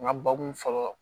N ka bakun fɔlɔ